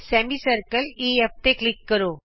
ਅਰਧ ਗੋਲਾ ਈਐਫ ਤੇ ਕਲਿਕ ਕਰੋ